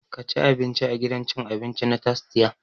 Ka ci abinci a gidan cin abinci na tastia!